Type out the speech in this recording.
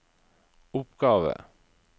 oppgave